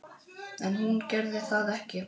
En hún gerði það ekki.